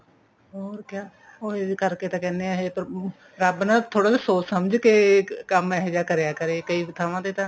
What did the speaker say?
ਹੋਰ ਕਿਆ ਉਹ ਇਸ ਕਰਕੇ ਤਾਂ ਕਹਿਨੇ ਆ ਰੱਬ ਨਾ ਥੋੜਾ ਜਾ ਸੋਚ ਸਮਝ ਕੇ ਕੰਮ ਇਹੋ ਜਿਹਾ ਕਰਿਆ ਕਰੇ ਕਈ ਥਾਵਾਂ ਤੇ ਤਾਂ